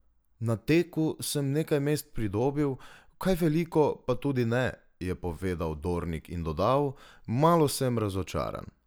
Na teku sem nekaj mest pridobil, kaj veliko pa tudi ne," je povedal Dornik in dodal: "Malo sem razočaran.